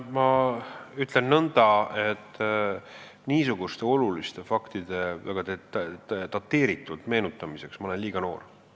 Ma ütlen nõnda, et niisuguste oluliste faktide väga dateeritud meenutamiseks ma olen liiga noor.